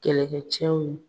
Kɛlɛkɛcɛw